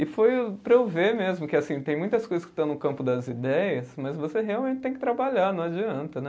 E foi para eu ver mesmo que, assim, tem muitas coisas que estão no campo das ideias, mas você realmente tem que trabalhar, não adianta, né?